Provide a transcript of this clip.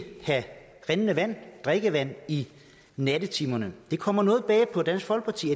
rindende vand drikkevand i nattetimerne det kommer noget bag på dansk folkeparti